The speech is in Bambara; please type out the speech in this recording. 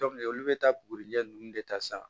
olu bɛ taa bugurinjɛ nunnu de ta sa